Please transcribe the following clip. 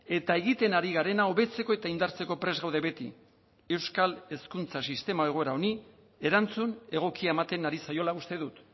eta egiten ari garena hobetzeko eta indartzeko prest gaude beti euskal hezkuntza sistema egoera honi erantzun egokia ematen ari zaiola uste dut